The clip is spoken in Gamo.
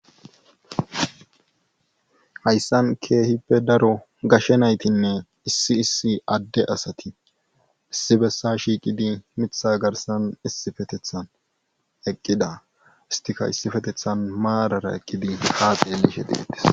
Hayssan keehippe daro gashe naytine issi adde asati issi bessa shiiqidi miththa garssan issippeteththan eqqida istikka issippeteththan eqqidi marara ha xeelishe deetees.